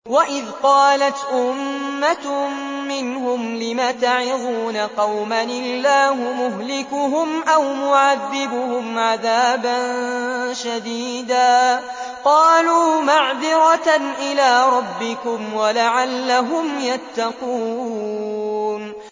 وَإِذْ قَالَتْ أُمَّةٌ مِّنْهُمْ لِمَ تَعِظُونَ قَوْمًا ۙ اللَّهُ مُهْلِكُهُمْ أَوْ مُعَذِّبُهُمْ عَذَابًا شَدِيدًا ۖ قَالُوا مَعْذِرَةً إِلَىٰ رَبِّكُمْ وَلَعَلَّهُمْ يَتَّقُونَ